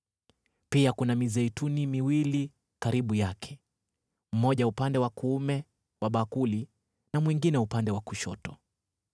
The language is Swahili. Pia kuna mizeituni miwili karibu yake, mmoja upande wa kuume wa bakuli na mwingine upande wa kushoto.”